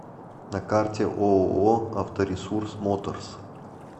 на карте ооо авторесурс моторс